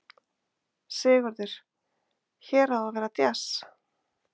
Sigurður: Hér á að vera djass?